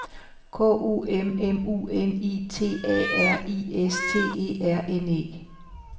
K O M M U N I T A R I S T E R N E